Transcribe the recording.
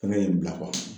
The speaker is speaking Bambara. Fana ye n bila